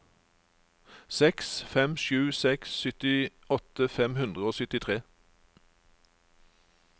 seks fem sju seks syttiåtte fem hundre og syttitre